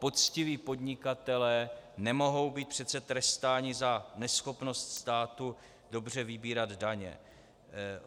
Poctiví podnikatelé nemohou být přece trestáni za neschopnost státu dobře vybírat daně.